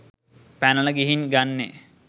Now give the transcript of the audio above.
පැනල ගිහින් ගන්නේ